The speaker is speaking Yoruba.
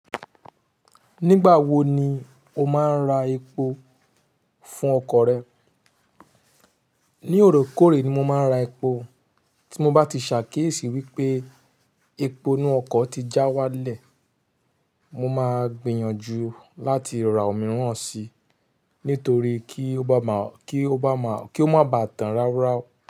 Nígbà wo ni o máa ń ra epo fún ọkọ̀ rẹ? Ní òrekòrè ni mo máa ń ra epo. Tí mo bá ti ṣàkíyèsí wípé epo inú ọkọ̀ ti já wálẹ̀, mo máa gbìyànjú láti ra òmíràn si nítorí kí ó má bá tàn ráuráu.